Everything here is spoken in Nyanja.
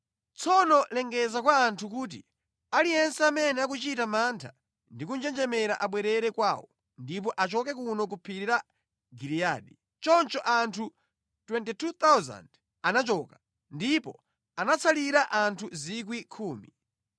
Tsono lengeza kwa anthu kuti, ‘Aliyense amene akuchita mantha ndi kunjenjemera abwerere kwawo, ndipo achoke kuno ku phiri la Giliyadi.’ ” Choncho anthu 22,000 anachoka, ndipo anatsalira anthu 10,000.